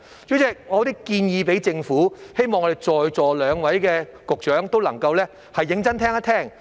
主席，我有一些建議給政府，希望我們在席兩位局長都能夠認真聆聽。